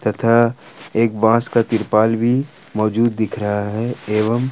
यह एक बास का तिरपाल भी मौजूद दिख रहा है एवं--